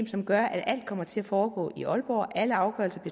som gør at alt kommer til at foregå i aalborg alle afgørelser